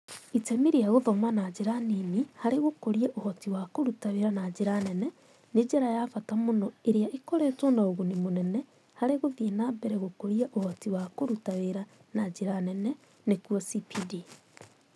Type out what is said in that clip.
"Itemi rĩa gũthoma na njĩra nini harĩ gũkũria ũhoti wa kũruta wĩra na njĩra nene nĩ njĩra ya bata mũno ĩrĩa ĩkoretwo na ũguni mũnene harĩ gũthiĩ na mbere gũkũria ũhoti wa kũruta wĩra na njĩra nene (CPD)".